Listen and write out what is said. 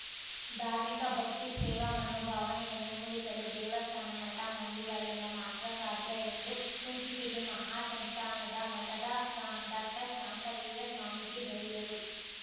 ಧಾರ್ಮಿಕ ಭಕ್ತಿ ಸೇವಾ ಮನೋಭಾವನೆಯನ್ನು ಮೂಡಿಸಲು ದೇವಸ್ಥಾನ ಮಠಮಂದಿಗಳಿಂದ ಮಾತ್ರ ಸಾಧ್ಯ ಎಂದು ಕುಂಚಿಟಿಗೆ ಮಹಾ ಸಂಸ್ಥಾನದ ಮಠದ ಶಾ ಡಾಕ್ಟರ್ಶಾಂತವೀರ ಸ್ವಾಮೀಜಿ ಹೇಳಿದರು